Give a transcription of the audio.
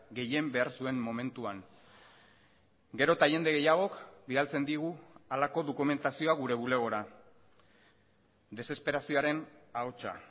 gehien behar zuen momentuan gero eta jende gehiagok bidaltzen digu halako dokumentazioa gure bulegora desesperazioaren ahotsa